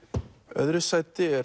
öðru sæti er